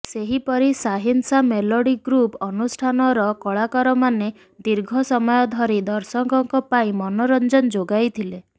ସେହିପରି ସାହିନ୍ସା melody group ଅନୁଷ୍ଠାନର କଳାକାରମାନେ ଦୀର୍ଘ ସମୟ ଧରି ଦର୍ଶକଙ୍କ ପାଇଁ ମନୋରଞ୍ଜନ ଯୋଗାଇଥିଲେ